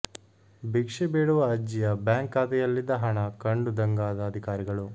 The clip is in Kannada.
ಭಿಕ್ಷೆ ಬೇಡುವ ಅಜ್ಜಿಯ ಬ್ಯಾಂಕ್ ಖಾತೆಯಲ್ಲಿದ್ದ ಹಣ ಕಂಡು ದಂಗಾದ ಅಧಿಕಾರಿಗಳು